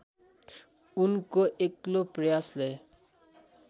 उनको एक्लो प्रयासले